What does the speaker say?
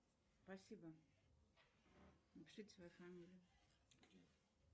спасибо